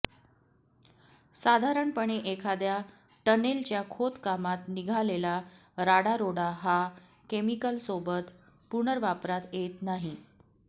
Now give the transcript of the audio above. साधारणपणे एखाद्या टनेलच्या खोदकामात निघालेला राडारोडा हा केमिकलसोबत पुनर्वापरात येत नाही